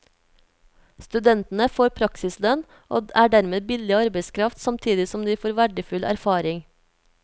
Studentene får praksislønn, og er dermed billig arbeidskraft, samtidig som de får verdifull erfaring.